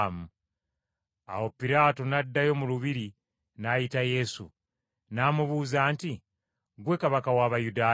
Awo Piraato n’addayo mu lubiri n’ayita Yesu. N’amubuuza nti, “Ggwe Kabaka w’Abayudaaya?”